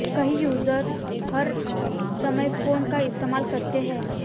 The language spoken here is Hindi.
कई यूजर्स हर समय फोन का इस्तेमाल करते हैं